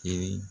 Kelen